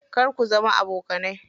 Kar ku zama abokanai.